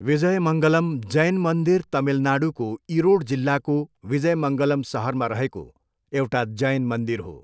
विजयमङ्गलम् जैन मन्दिर तमिलनाडूको इरोड जिल्लाको विजयमङ्गलम् सहरमा रहेको एउटा जैन मन्दिर हो।